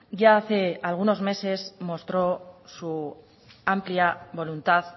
ya hace algunos meses mostró su amplia voluntad